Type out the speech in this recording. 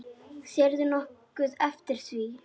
Sérðu nokkuð eftir því?